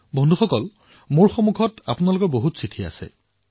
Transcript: বন্ধুসকল মোৰ ওচৰত আপোনালোকে প্ৰেৰণ কৰা বহু চিঠি আছে